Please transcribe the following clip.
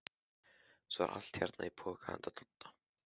Svo er allt hérna í poka handa Dodda.